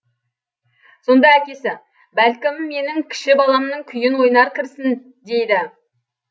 сонда әкесі бәлкім менің кіші баламның күйін ойнар кірсін дейді